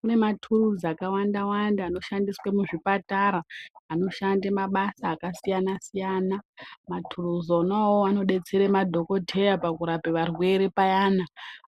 Mune maturuzi akawanda-wanda anoshandiswa muzvipatara, anoshande mabasa akasiyana-siyana. Maturuzi ona awawo anodetsere madhogodheya pakurape varwere payana.